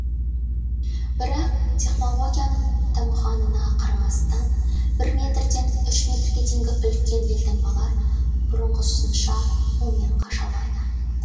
бірақ технологияның дамығанына қарамастан бір метрден үш метрге дейінгі үлкен елтаңбалар бұрынғысынша қолмен қашалады